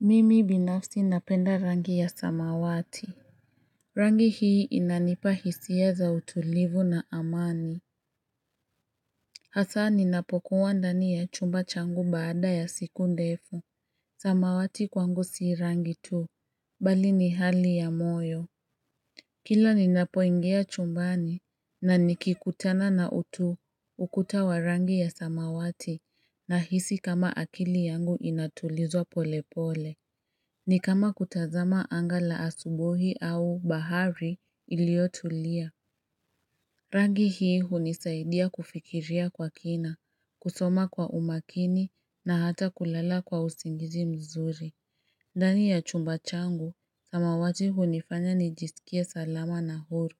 Mimi binafsi napenda rangi ya samawati. Rangi hii inanipa hisia za utulivu na amani Hasa ninapokuwa ndani ya chumba changu baada ya siku ndefu samawati kwangu si rangi tu bali ni hali ya moyo Kila ninapoingia chumbani na nikikutana na ukuta wa rangi ya samawati nahisi kama akili yangu inatulizwa pole pole ni kama kutazama anga la asubuhi au bahari iliyotulia Rangi hii hunisaidia kufikiria kwa kina, kusoma kwa umakini na hata kulala kwa usingizi mzuri ndani ya chumba changu, samawati hunifanya nijisikie salama na huru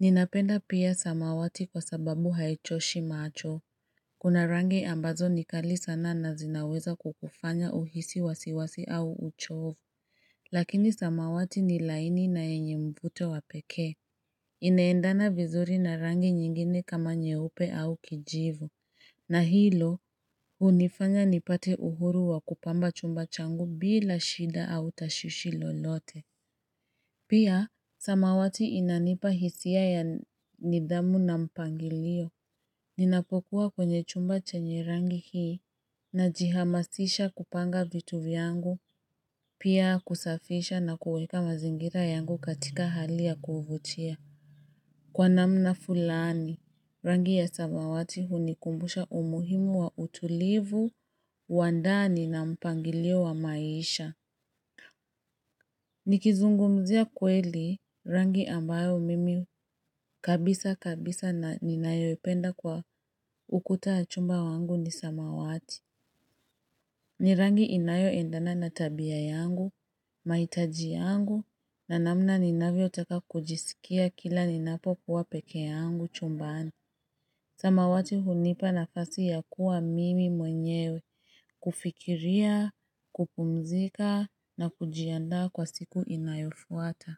Ninapenda pia samawati kwa sababu haichoshi macho Kuna rangi ambazo ni kali sana na zinaweza kukufanya uhisi wasiwasi au uchovu Lakini samawati ni laini na yenye mvuto wa pekee Ineendana vizuri na rangi nyingine kama nyeupe au kijivu na hilo hunifanya nipate uhuru wa kupamba chumba changu bila shida au tashwishi lolote Pia, samawati inanipa hisia ya nidhamu na mpangilio Ninapokuwa kwenye chumba chenye rangi hii Najihamasisha kupanga vitu vyangu Pia kusafisha na kuweka mazingira yangu katika hali ya kuuvutia. Kwa namna fulani, rangi ya samawati hunikumbusha umuhimu wa utulivu, uandani na mpangilio wa maisha Nikizungumzia kweli, rangi ambayo mimi kabisa kabisa na ninayopenda kwa ukuta wa chumba changu ni samawati ni rangi inayoendana na tabia yangu, mahitaji yangu, na namna ninavyotaka kujisikia kila ninapokuwa peke yangu chumbani. Samawati hunipa nafasi ya kuwa mimi mwenyewe, kufikiria, kupumzika, na kujiandaa kwa siku inayofuata.